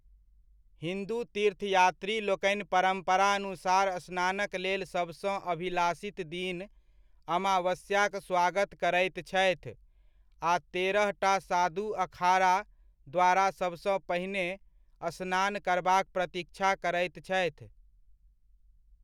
हिन्दू तीर्थयात्री लोकनि परम्परानुसार स्नानक लेल सबसँ अभिलाषित दिन अमावस्याक स्वागत करैत छथि, आ तेरहटा साधु अखाड़ा द्वारा सबसँ पहिने स्नान करबाक प्रतीक्षा करैत छथि।